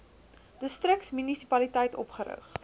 distriks munisipaliteit opgerig